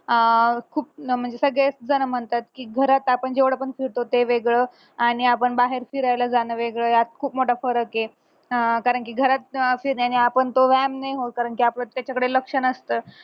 आह खूप म्हणजे सगळेच जण म्हणतात की घरात आपण जेवढं पण फिरतो ते वेगळं आणि आपण बाहेर फिरायला जाणं वेगळं यात खूप मोठा फरक ये अह कारण की घरात फिरणे आणि आपण तो व्यायाम नाय होत कारण की आपलं त्याच्याकडे लक्ष्य नसत